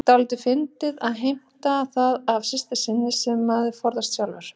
Dálítið fyndið að heimta það af systur sinni sem maður forðast sjálfur.